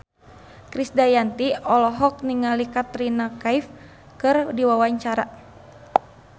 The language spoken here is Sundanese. Krisdayanti olohok ningali Katrina Kaif keur diwawancara